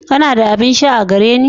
Kana da abin sha a gare ni?